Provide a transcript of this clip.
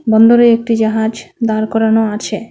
বন্দরে একটি জাহাজ দাঁড় করানো আছে।